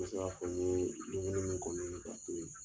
N mi se ka fɔ n ye dumuni min kɔni ye ka to yen